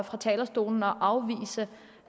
fra talerstolen og afvise